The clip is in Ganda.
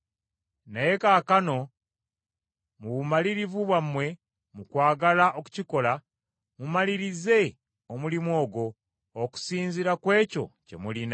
Naye kaakano mu bumalirivu bwammwe mu kwagala okukikola, mumalirize omulimu ogwo, okusinziira kw’ekyo kye mulina.